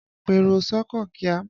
Pèrò s'ọ́kọ̀ kíá!